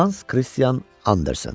Hans Kristian Andersen.